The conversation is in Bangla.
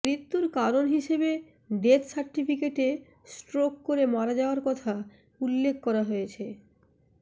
মৃত্যুর কারণ হিসেবে ডেথ সার্টিফিকেটে স্ট্রোক করে মারা যাওয়ার কথা উল্লেখ করা হয়েছে